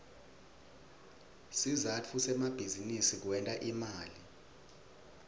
sizatfu semabizinisi kwenta imali